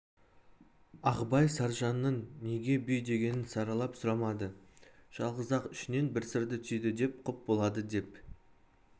ағыбай саржанның неге бүй дегенін саралап сұрамады жалғыз-ақ ішінен бір сырды түйді де құп болады деп